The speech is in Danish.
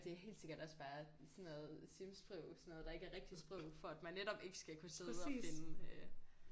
Det er helt sikkert også bare sådan noget Sims-sprog sådan noget der ikke er rigtigt sprog for at man netop ikke skal kunne sidde og finde øh